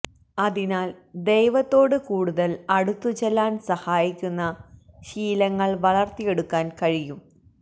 അതിനാൽ ദൈവത്തോട് കൂടുതൽ അടുത്തുചെല്ലാൻ സഹായിക്കുന്ന ശീലങ്ങൾ വളർത്തിയെടുക്കാൻ കഴിയും